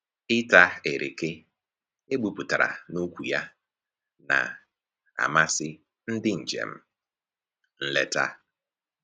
Ịta ereke egbupụtara n'ukwu ya na-amasị ndị njem nleta